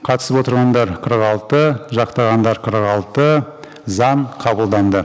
қатысып отырғандар қырық алты жақтағандар қырық алты заң қабылданды